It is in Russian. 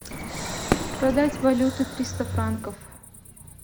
продать валюту триста франков